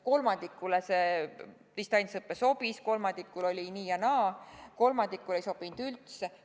Kolmandikule distantsõpe sobis, kolmandiku puhul oli nii ja naa, kolmandikule ei sobinud üldse.